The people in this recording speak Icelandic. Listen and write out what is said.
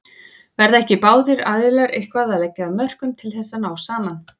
Verða ekki báðir aðilar eitthvað að leggja af mörkum til þess að ná saman?